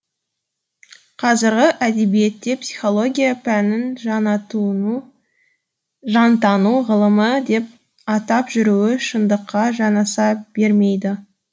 қазіргі әдебиетте психология пәнін жантану ғылымы деп атап жүруі шындыққа жанаса бермейді